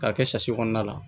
K'a kɛ kɔnɔna la